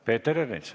Peeter Ernits.